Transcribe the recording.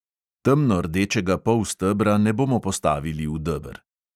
Temnordečega polstebra ne bomo postavili v deber.